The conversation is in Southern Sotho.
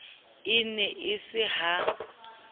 e ne e se ha